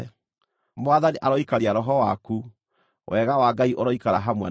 Mwathani aroikaria roho waku. Wega wa Ngai ũroikara hamwe nawe.